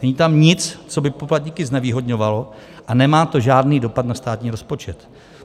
Není tam nic, co by poplatníky znevýhodňovalo, a nemá to žádný dopad na státní rozpočet.